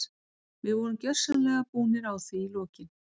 Við vorum gjörsamlega búnir á því í lokin.